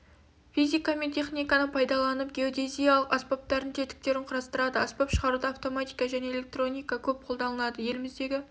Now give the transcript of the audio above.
физика мен механиканы пайдаланып геодезиялық аспаптардың тетіктерін құрастырады аспап шығаруда автоматика және электроника көп қолданылады еліміздегі